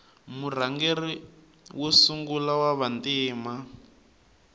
murhangeri wa sungula wava ntima